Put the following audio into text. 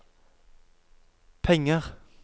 penger